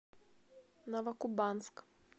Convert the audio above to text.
новокубанск